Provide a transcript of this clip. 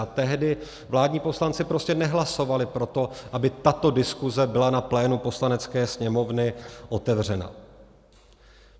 A tehdy vládní poslanci prostě nehlasovali pro to, aby tato diskuse byla na plénu Poslanecké sněmovny otevřena.